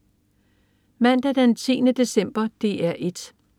Mandag den 10. december - DR 1: